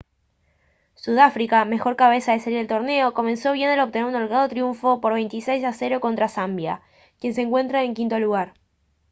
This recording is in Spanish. sudáfrica mejor cabeza de serie del torneo comenzó bien al obtener un holgado triunfo por 26-0 contra zambia quien se encuentra en quinto lugar